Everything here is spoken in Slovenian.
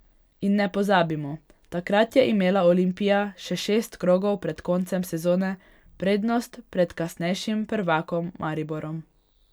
In ne pozabimo, takrat je imela Olimpija še šest krogov pred koncem sezone prednost pred kasnejšim prvakom Mariborom.